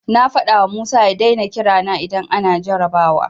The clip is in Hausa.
Na faɗawa Musa ya daina kira na idan ana jarrabawa.